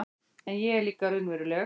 En ég er líka raunveruleg